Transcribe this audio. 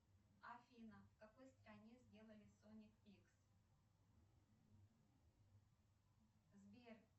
афина в какой стране сделали соник икс сбер